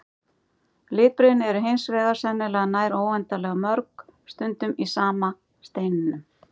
Litbrigðin eru hins vegar sennilega nær óendanlega mörg, stundum í sama steininum.